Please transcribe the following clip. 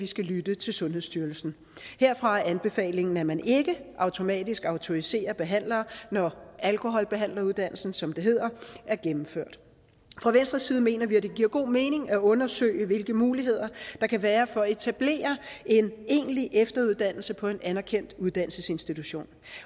skal lytte til sundhedsstyrelsen herfra er anbefalingen at man ikke automatisk autoriserer behandlere når alkoholbehandleruddannelsen som det hedder er gennemført fra venstres side mener vi at det giver god mening at undersøge hvilke muligheder der kan være for at etablere en egentlig efteruddannelse på en anerkendt uddannelsesinstitution